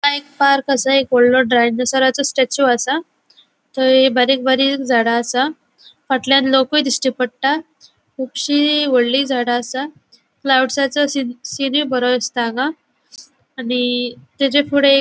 हंगा एक पार्क असा वॉडलों डायनासॉराचो स्टेचू असा तै बारीक बारिक झाड़ा असा फाटल्याण लोकुए दिश्टी पट्टा कुबशी वोडली झाड़ा असा क्लाउड्साचो सीन बरो दिसता हांगा आणि ताचे फुड़े एक --